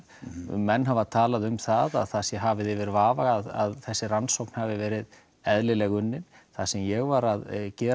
menn hafa talað um það að það sé hafið yfir vafa að þessi rannsókn hafi verið eðlilega unnin það sem ég var að gera